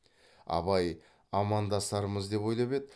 абай амандасармыз деп ойлап еді